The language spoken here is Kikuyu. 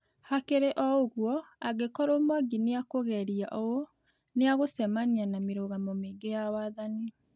Hakĩrĩ ũgũo, angĩkorwo Mwangi nĩakugerĩa ũ, nĩagũcemanĩa na mĩrũgamo mĩĩngĩ ya wathanĩ